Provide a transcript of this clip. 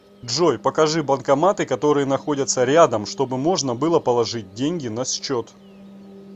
джой покажи банкоматы которые находятся рядом чтобы можно было положить деньги на счет